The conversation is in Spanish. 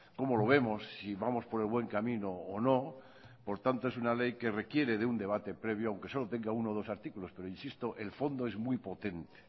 cómo lo vemos si vamos por el buen camino o no por tanto es una ley que requiere de un debate previo aunque solo tenga uno o dos artículos pero insisto el fondo es muy potente